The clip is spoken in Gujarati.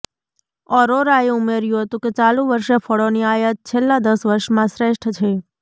અરોરાએ ઉમેર્યું હતું કે ચાલુ વર્ષે ફળોની આયાત છેલ્લા દસ વર્ષમાં શ્રેષ્ઠ છે